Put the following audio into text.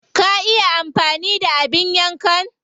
Ka iya amfani da abin yankan?